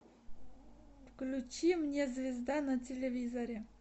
включи мне звезда на телевизоре